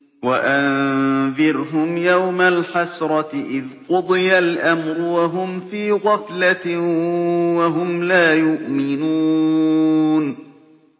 وَأَنذِرْهُمْ يَوْمَ الْحَسْرَةِ إِذْ قُضِيَ الْأَمْرُ وَهُمْ فِي غَفْلَةٍ وَهُمْ لَا يُؤْمِنُونَ